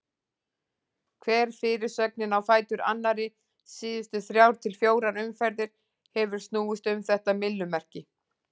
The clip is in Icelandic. Hver fyrirsögnin á fætur annarri síðustu þrjár til fjórar umferðir hefur snúist um þetta myllumerki.